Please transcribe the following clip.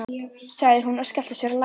sagði hún og skellti sér á lær.